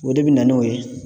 O de be na n'o ye.